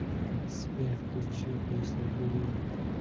сбер включи песня буллет